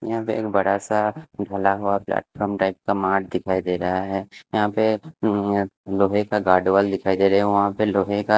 यहां पे एक बड़ासा घला हुआ प्लेटफार्म टाइप का मार्ट दिखाई दे रहा है यहां पे लोहे का गार्ड वॉल दिखाई दे रे है वहां पे लोहे का --